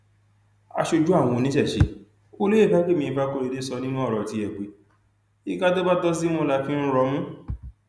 aṣojú àwọn oníṣẹṣẹ olóye fàgbémí ìfakọrẹdẹ sọ nínú ọrọ tiẹ pé ìka tó bá tó símú la fi ń rọmú